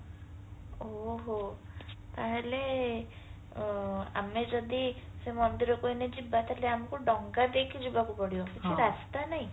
ଓହୋ ତାହାଲେ ଆମେ ଯଦି ସେ ମନ୍ଦିରକୁ ଏଇନା ଯିବା ତାହାଲେ ଆମକୁ ଡଙ୍ଗା ଦେଇକି ଯିବାକୁ ପଡିବ